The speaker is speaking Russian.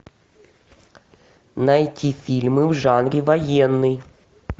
найти фильмы в жанре военный